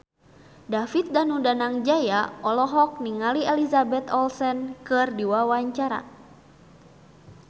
David Danu Danangjaya olohok ningali Elizabeth Olsen keur diwawancara